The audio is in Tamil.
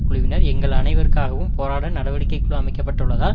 குழுவினர் எங்கள் அனைவருக்காகவும் போராட நடவடிக்கை குழு அமைக்கப்பட்டுள்ளதா